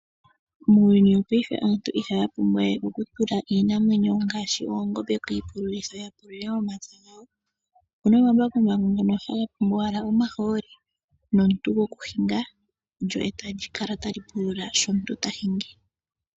Muuyuni wongaashingeyi aantu ihaya pumbwa we okutula iinamwenyo ngaashi okutula oongombe kiipululo ya pulule omapya. Otuna omaambakumbaku ngoka haga tulwa ashike omaaholi nomuntu go kuhinga ndyo etali kala tali pulula sho omuntu ta hingi.